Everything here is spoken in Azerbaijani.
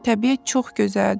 Təbiət çox gözəldir.